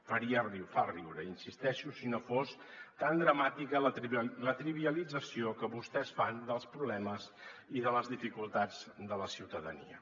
faria riure fa riure hi insisteixo si no fos tan dramàtica la trivialització que vostès fan dels problemes i de les dificultats de la ciutadania